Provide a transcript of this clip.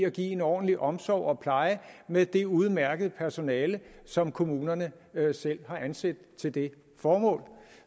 at give en ordentlig omsorg og pleje med det udmærkede personale som kommunerne selv har ansat til det formål